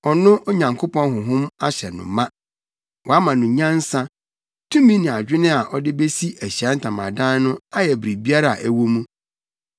no sɛ ɔno Onyankopɔn Honhom ahyɛ no ma. Wama no nyansa, tumi ne adwene a ɔde besi Ahyiae Ntamadan no ayɛ biribiara a ɛwɔ mu.